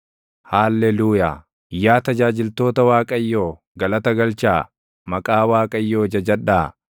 Haalleluuyaa. Yaa tajaajiltoota Waaqayyoo, galata galchaa; maqaa Waaqayyoo jajadhaa.